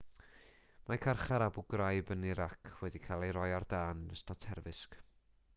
mae carchar abu ghraib yn irac wedi cael ei roi ar dân yn ystod terfysg